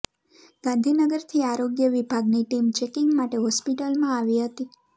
ગાંધીનગરથી આરોગ્ય વિભાગની ટીમ ચેકિંગ માટે હોસ્પિટલમાં આવી હતી